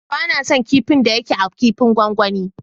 Ba na son kipin da ya ke a kipin gwangwani.